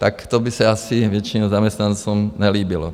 Tak to by se asi většině zaměstnancům nelíbilo.